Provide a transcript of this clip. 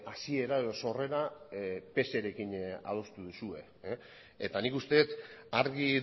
hasiera edo sorrera pserekin adostu duzue eta nik uste dut argi